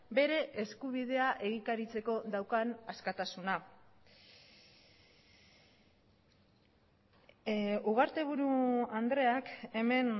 bere eskubidea egikaritzeko daukan askatasuna ugarteburu andreak hemen